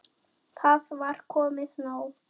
Það var komið nóg.